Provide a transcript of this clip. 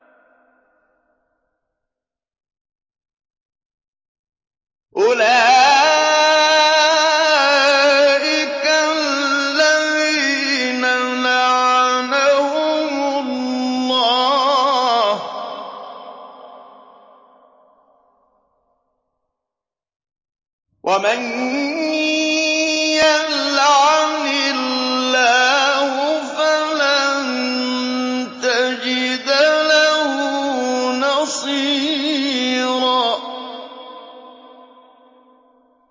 أُولَٰئِكَ الَّذِينَ لَعَنَهُمُ اللَّهُ ۖ وَمَن يَلْعَنِ اللَّهُ فَلَن تَجِدَ لَهُ نَصِيرًا